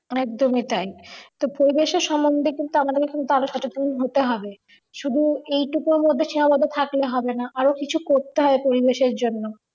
একদমই তাই তো পরিবেশের সমন্ধে কিন্তু আমাদের কিন্তু আরও সচেতন হতে হবে শুধু এইটুকুর মধ্যে সীমাবদ্ধ থাকলে হবে না আরও কিছু করতে হবে পরিবেশের জন্য